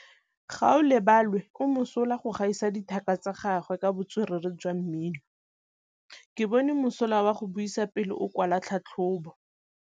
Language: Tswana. Gaolebalwe o mosola go gaisa dithaka tsa gagwe ka botswerere jwa mmino. Ke bone mosola wa go buisa pele o kwala tlhatlhobô.